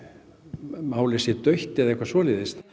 málið sé dautt eða eitthvað svoleiðis